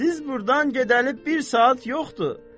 Siz burdan gedəli bir saat yoxdur.